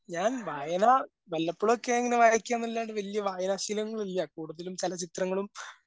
ഞാൻ വായനാ വല്ലപ്പോഴക്കെ ഇങ്ങനെ വായിക്കൂന്നല്ലാണ്ട് വല്യ വായനാ ശീലങ്ങളില്ലാ കൂടുതലും ചലച്ചിത്രങ്ങളും